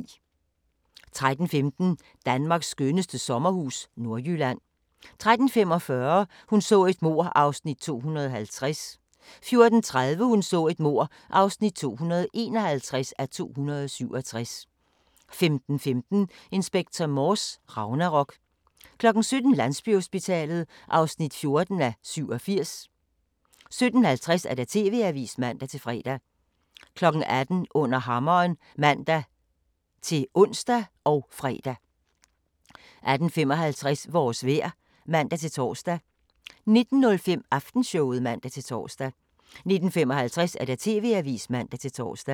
13:15: Danmarks skønneste sommerhus – Nordjylland 13:45: Hun så et mord (250:267) 14:30: Hun så et mord (251:267) 15:15: Inspector Morse: Ragnarok 17:00: Landsbyhospitalet (14:87) 17:50: TV-avisen (man-fre) 18:00: Under hammeren (man-ons og fre) 18:55: Vores vejr (man-tor) 19:05: Aftenshowet (man-tor) 19:55: TV-avisen (man-tor)